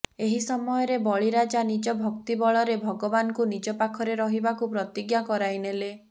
ଏହି ସମୟରେ ବଳି ରାଜା ନିଜ ଭକ୍ତି ବଳରେ ଭଗବାନଙ୍କୁ ନିଜ ପାଖରେ ରହିବାକୁ ପ୍ରତିଜ୍ଞା କରାଇନେଲେ